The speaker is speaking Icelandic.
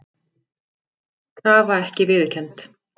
Krafa ekki viðurkennd